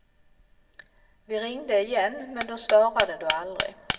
Vi ringde igen men då svarade du aldrig.